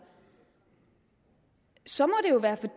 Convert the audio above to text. så må